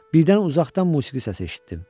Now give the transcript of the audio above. Birdən uzaqdan musiqi səsi eşitdim.